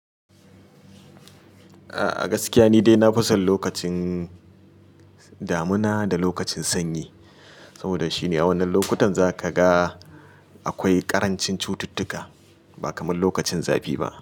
A gaskiya ni dai na fi son lokacin damuna da lokacin sanyi, saboda shine a wannan lokutan za ka ga akwai ƙarancin cututtuka ba kamar lokacin zafi ba.